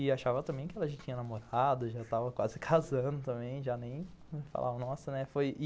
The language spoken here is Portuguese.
E achava também que ela já tinha namorado, já estava quase casando também, já nem falavam nossa, né?